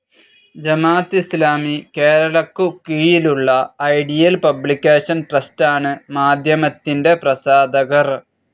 ജമാത്ത് ഇസ്ലാമി കേരളയ്ക്കു കീഴിലുള്ള ideal publication ട്രസ്റ്റാണ് മാധ്യമത്തിൻ്റെ പ്രസാധകർ.